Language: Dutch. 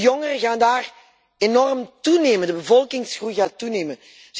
De jongeren gaan daar enorm toenemen, de bevolkingsgroei gaat toenemen.